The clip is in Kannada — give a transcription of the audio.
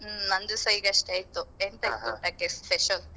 ಹ್ಮ್ ನಂದುಸ ಈಗಷ್ಟೇ ಆಯ್ತು ಎಂತ ಇತ್ತು ಊಟಕ್ಕೆ special ?